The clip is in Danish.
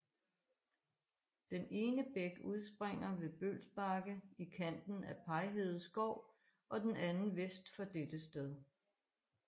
Den ene bæk udspringer ved Bølbakke i kanten af Pajhede skov og den anden vest for dette sted